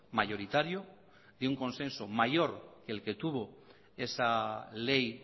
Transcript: mayoritario y de un consenso mayor que el que tuvo esa ley